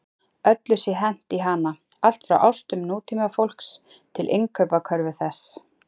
Öllu sé hent í hana, allt frá ástum nútímafólks til innkaupakörfu þess.